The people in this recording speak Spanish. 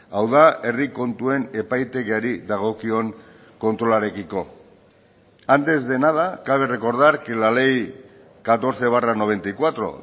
hau da herri kontuen epaitegiari dagokion kontrolarekiko antes de nada cabe recordar que la ley catorce barra noventa y cuatro